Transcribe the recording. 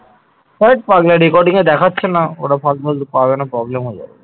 VAT পাগলা recording এ দেখাচ্ছে না। ওটা পাওয়া না গেলে problem হয়ে যাবে